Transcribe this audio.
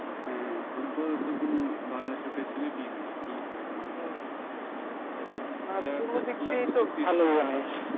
হ্যাঁ football এ তো কোনো বাংলাদেশে facility নাই কি খেলবে ওরা